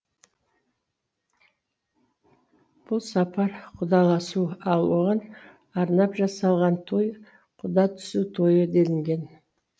бұл сапар құдаласу ал оған арнап жасалған той құда түсу тойы делінген